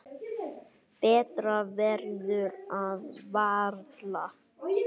Betra verður það varla.